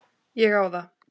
Ég á það.